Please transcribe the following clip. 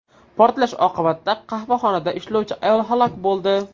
Portlash oqibatida qahvaxonada ishlovchi ayol halok bo‘ldi.